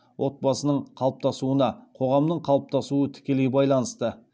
отбасының қалыптасуына қоғамның қалыптасуы тікелей байланысты